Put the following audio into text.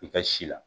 I ka si la